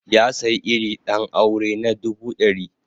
Ya sayi iri ɗan aure na dubu ɗari